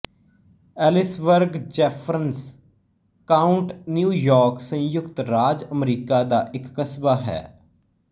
Ellisburg Jefferson County New York ਸੰਯੁਕਤ ਰਾਜ ਅਮਰੀਕਾ ਦਾ ਇੱਕ ਕਸਬਾ ਹੈ